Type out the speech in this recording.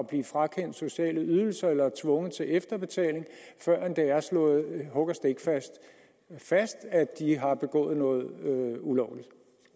blive frakendt sociale ydelser eller tvunget til efterbetaling før det er slået hug og stikfast fast at de har begået noget ulovligt